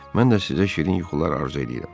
Mən də sizə şirin yuxular arzu eləyirəm.